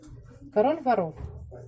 король воров